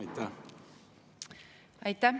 Aitäh!